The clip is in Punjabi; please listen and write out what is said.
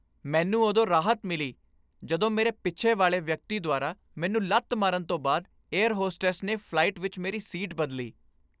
ਮੈਨੂੰ ਉਦੋਂ ਰਾਹਤ ਮਿਲੀ ਜਦੋਂ ਮੇਰੇ ਪਿੱਛੇ ਵਾਲੇ ਵਿਅਕਤੀ ਦੁਆਰਾ ਮੈਨੂੰ ਲੱਤ ਮਾਰਨ ਤੋਂ ਬਾਅਦ ਏਅਰ ਹੋਸਟੈਸ ਨੇ ਫਲਾਈਟ ਵਿੱਚ ਮੇਰੀ ਸੀਟ ਬਦਲੀ।